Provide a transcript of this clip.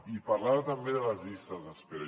i parlava també de les llistes d’espera